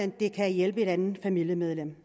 det kan hjælpe et andet familiemedlem